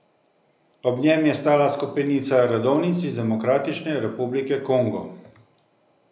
Ob njem je stala skupinica redovnic iz Demokratične republike Kongo.